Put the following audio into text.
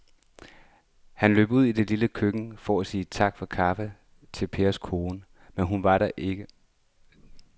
Han løb ud i det lille køkken for at sige tak for kaffe til Pers kone, men hun var ikke til at se.